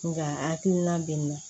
Nka hakilina bɛ na